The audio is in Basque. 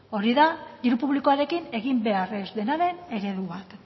hori da diru publikoarekin egin behar ez denaren eredu bat